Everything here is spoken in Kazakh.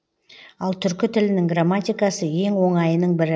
ал түркі тілінің грамматикасы ең оңайының бірі